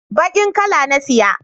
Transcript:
bakin kala na saya